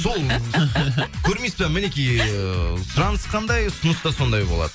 сол көрмейсіз бе мінекей ыыы сұраныс қандай ұсыныс та сондай болады